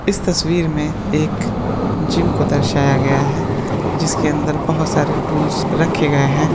इस तस्वीर में एक जिम को दर्शाया गया है जिसके अंदर बहुत सारे टूल्स रखे गए है।